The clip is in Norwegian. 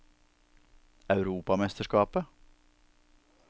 europamesterskapet